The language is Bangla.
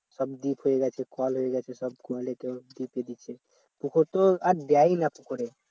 সব deep হয়ে গেছে কল হয়ে গেছে সব কলে করে deep এ করে পুকুর তো আর দেয়ই না পুকুরে